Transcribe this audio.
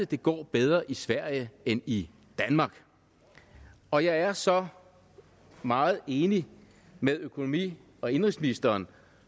det går bedre i sverige end i danmark og jeg er så meget enig med økonomi og indenrigsministeren